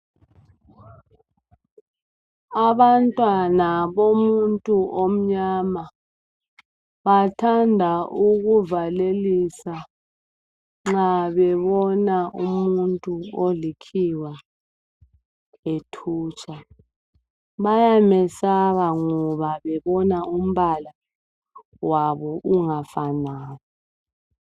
Abantwana bomuntu omnyama bathanda ukuvalelisa nxa bebona umuntu olikhiwa ethutsha. Bayamesaba ngoba bebona umbala wabo ungafanani.